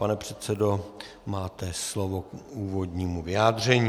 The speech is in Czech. Pane předsedo, máte slovo k úvodnímu vyjádření.